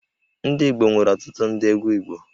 Ndị Igbo nwere ọtụtụ ndị egwú Igbo